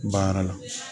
Baara la